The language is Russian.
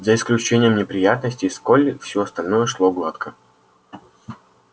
за исключением неприятностей с колли всё остальное шло гладко